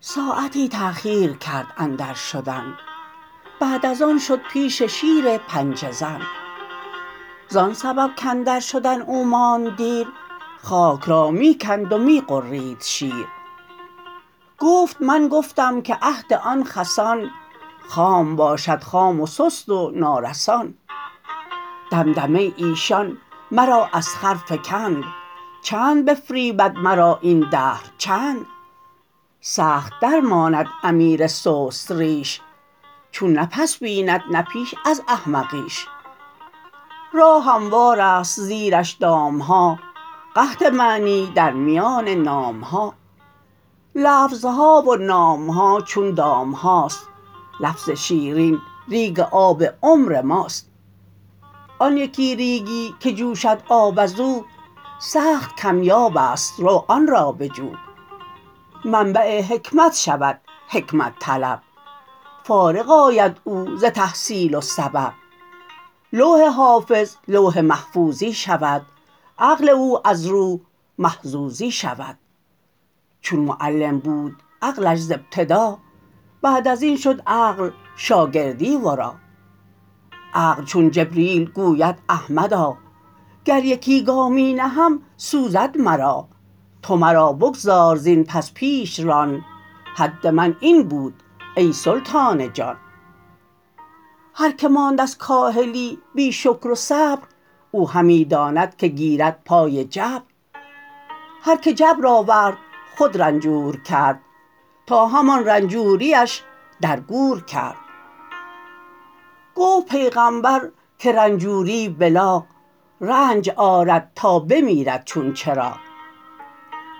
ساعتی تاخیر کرد اندر شدن بعد از آن شد پیش شیر پنجه زن زان سبب کاندر شدن او ماند دیر خاک را می کند و می غرید شیر گفت من گفتم که عهد آن خسان خام باشد خام و سست و نارسان دمدمه ی ایشان مرا از خر فکند چند بفریبد مرا این دهر چند سخت درماند امیر سست ریش چون نه پس بیند نه پیش از احمقیش راه هموارست زیرش دامها قحط معنی در میان نامها لفظها و نامها چون دامهاست لفظ شیرین ریگ آب عمر ماست آن یکی ریگی که جوشد آب ازو سخت کم یابست رو آن را بجو منبع حکمت شود حکمت طلب فارغ آید او ز تحصیل و سبب لوح حافظ لوح محفوظی شود عقل او از روح محظوظی شود چون معلم بود عقلش ز ابتدا بعد ازین شد عقل شاگردی ورا عقل چون جبریل گوید احمدا گر یکی گامی نهم سوزد مرا تو مرا بگذار زین پس پیش ران حد من این بود ای سلطان جان هر که ماند از کاهلی بی شکر و صبر او همی داند که گیرد پای جبر هر که جبر آورد خود رنجور کرد تا همان رنجوریش در گور کرد گفت پیغمبر که رنجوری بلاغ رنج آرد تا بمیرد چون چراغ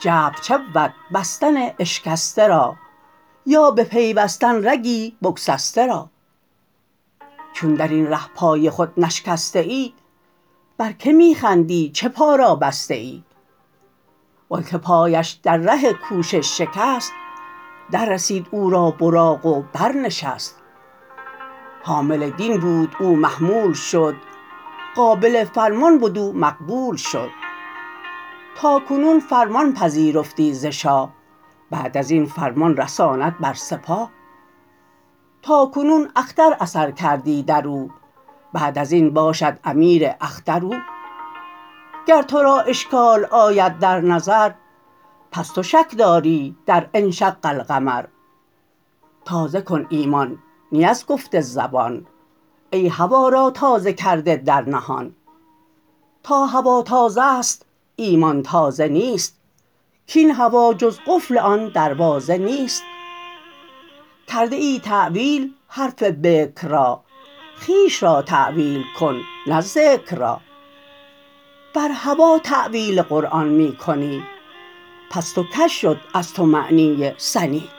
جبر چه بود بستن اشکسته را یا بپیوستن رگی بگسسته را چون درین ره پای خود نشکسته ای بر که می خندی چه پا را بسته ای وانک پایش در ره کوشش شکست دررسید او را براق و بر نشست حامل دین بود او محمول شد قابل فرمان بد او مقبول شد تاکنون فرمان پذیرفتی ز شاه بعد ازین فرمان رساند بر سپاه تاکنون اختر اثر کردی درو بعد ازین باشد امیر اختر او گر ترا اشکال آید در نظر پس تو شک داری در انشق القمر تازه کن ایمان نی از گفت زبان ای هوا را تازه کرده در نهان تا هوا تازه ست ایمان تازه نیست کاین هوا جز قفل آن دروازه نیست کرده ای تاویل حرف بکر را خویش را تاویل کن نه ذکر را بر هوا تاویل قرآن می کنی پست و کژ شد از تو معنی سنی